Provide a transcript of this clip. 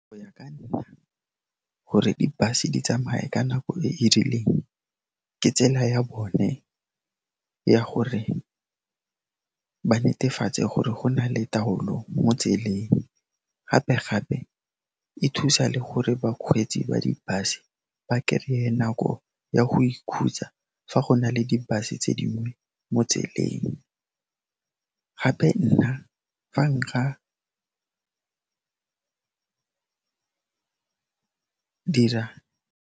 Go ya ka nna, gore di bus-e di tsamaye ka nako e e rileng, ke tsela ya bone ya gore ba netefatse gore go na le taolo mo tseleng, gape-gape e thusa le gore bakgweetsi ba di bus-e ba kereye nako ya go ikhutsa fa go na le di bus-e tse dingwe mo tseleng gape nna, fa nka dira.